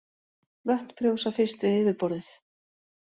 Vötn frjósa fyrst við yfirborðið.